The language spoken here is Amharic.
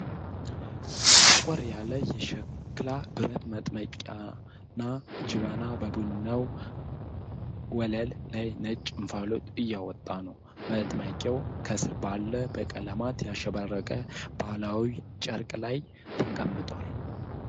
ጠቆር ያለ የሸክላ ብረት መጥመቂያ ወይም ጀበና በቡናው ወለል ላይ ነጭ እንፋሎት እያወጣ ነው። መጥመቂያው ከስር ባለ በቀለማት ያሸበረቀ ባህላዊ ጨርቅ ላይ ተቀምጧል።